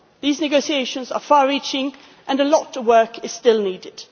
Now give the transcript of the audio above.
These negotiations are far reaching, and a lot of work is still needed.